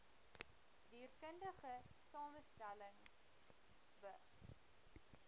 dierkundige samestelling be